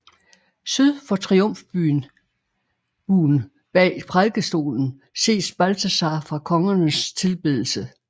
Syd for triumfbuen bag prædikestolen ses Balthasar fra Kongernes tilbedelse